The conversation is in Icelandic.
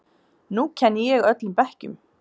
Nú kenni ég öllum bekkjum.